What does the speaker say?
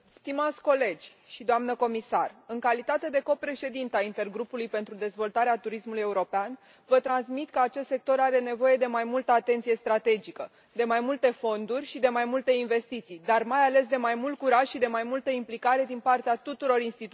Doamnă președinte, în calitate de co președintă a Intergrupului pentru dezvoltarea turismului european, vă transmit că acest sector are nevoie de mai multă atenție strategică, de mai multe fonduri și de mai multe investiții, dar, mai ales, de mai mult curaj și de mai multă implicare din partea tuturor instituțiilor europene.